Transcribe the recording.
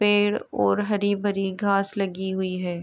पेड़ और हरी भरी घास लगी हुई है।